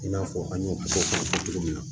I n'a fɔ an y'o fɔ cogo min na